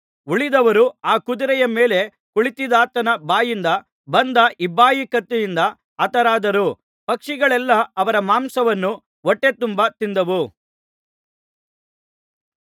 ಉಳಿದವರು ಆ ಕುದುರೆಯ ಮೇಲೆ ಕುಳಿತಿದ್ದಾತನ ಬಾಯಿಂದ ಬಂದ ಇಬ್ಬಾಯಿ ಕತ್ತಿಯಿಂದ ಹತರಾದರು ಪಕ್ಷಿಗಳೆಲ್ಲಾ ಅವರ ಮಾಂಸವನ್ನು ಹೊಟ್ಟೆತುಂಬಾ ತಿಂದವು